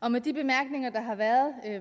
og med de bemærkninger der har været